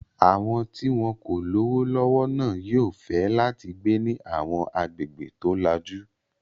Àwọn tí wọn kò lówó lọ́wọ́ náà yóò fẹ́ láti gbé ní àwọn agbègbè tó lajú.